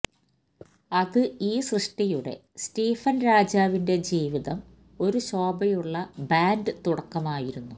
അത് ഈ സൃഷ്ടിയുടെ സ്റ്റീഫൻ രാജാവിന്റെ ജീവിതം ഒരു ശോഭയുള്ള ബാൻഡ് തുടക്കമായിരുന്നു